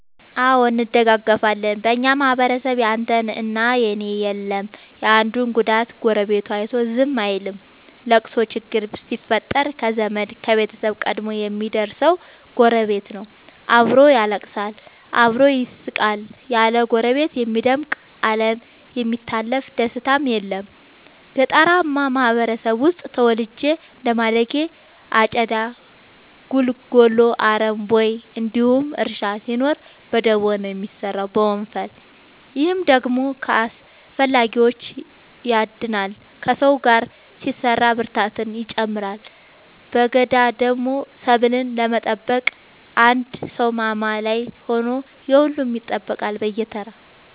አዎ እንደጋገፋለን በኛ ማህበረሰብ ያንተ እና የኔ የለም የአንዱን ጉዳት ጎረቤቱ አይቶ ዝም አይልም። ለቅሶ ችግር ሲፈጠር ከዘመድ ከቤተሰብ ቀድሞ የሚደር ሰው ጎረቤት ነው። አብሮ ያለቅሳል አብሮ ይስቃል ያለ ጎረቤት የሚደምቅ አለም የሚታለፍ ደስታም የለም። ገጠርአማ ማህበረሰብ ውስጥ ተወልጄ እንደማደጌ አጨዳ ጉልጎሎ አረም ቦይ እንዲሁም እርሻ ሲኖር በደቦ ነው የሚሰራው በወንፈል። ይህ ደግሞ ከአላስፈላጊዎቺ ያድናል ከሰው ጋር ሲሰራ ብርታትን ይጨምራል። በገዳደሞ ሰብሉን ለመጠበቅ አንድ ሰው ማማ ላይ ሆኖ የሁሉም ይጠብቃል በየተራ።